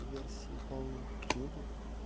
версии полной книги